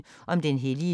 TV 2